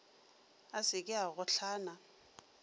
a se ke a gohlana